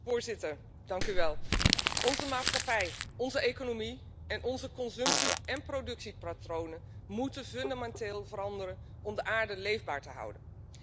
Voorzitter, onze maatschappij, onze economie, en onze consumptie en productiepatronen moeten fundamenteel veranderen om de aarde leefbaar te houden.